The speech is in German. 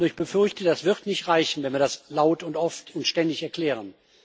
Ich befürchte nur, das wird nicht reichen, wenn wir das laut und oft und ständig erklären.